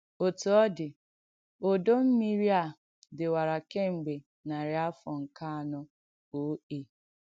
Ọ̀tụ́ ọ̀ dị̀, òdò mmirì a dị̀wara kemgbè narị́ àfọ̀ nké ạnọ̀ O.A.